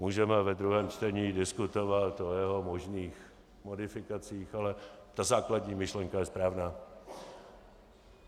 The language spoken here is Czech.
Můžeme ve druhém čtení diskutovat o jeho možných modifikacích, ale ta základní myšlenka je správná.